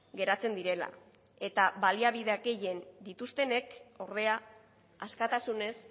geratzen direla eta baliabideak gehien dituztenek ordea askatasunez